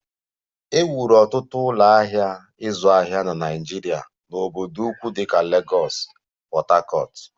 E wuru ọtụtụ ụlọ ahịa ịzụ ahịa na Naịjirịa n'obodo ukwu dịka Lagos, Port Harcourt